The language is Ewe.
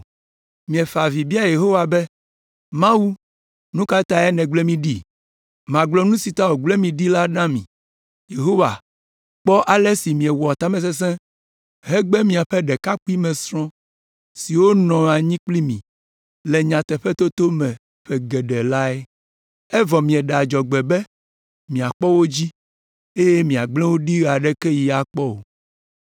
Miefa avi bia Yehowa be: “Mawu, nu ka tae nègblẽ mí ɖi?” Magblɔ nu si ta wògble mi ɖi la na mi; Yehowa kpɔ ale si miewɔ tamesesẽ hegbe miaƒe ɖekakpuimesrɔ̃ siwo nɔ anyi kpli mi le nyateƒetoto me ƒe geɖe lae. Evɔ mieɖe adzɔgbe be miakpɔ wo dzi, eye miagblẽ wo ɖi ɣe aɖeke ɣi akpɔ o.